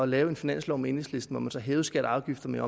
lave en finanslov med enhedslisten hvor man så hævede skatter og afgifter med